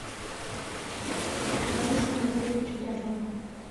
борису анатольевичу дятлову